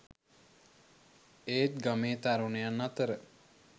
ඒත් ගමේ තරුණයන් අතර